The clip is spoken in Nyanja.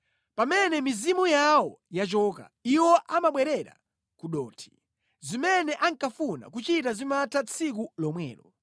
Pamene mizimu yawo yachoka, iwo amabwerera ku dothi; zimene ankafuna kuchita zimatha tsiku lomwelo.